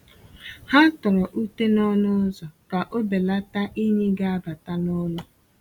Ha tọrọ ute n’ọnụ ụzọ ka o belata inyi ga abata n’ụlọ.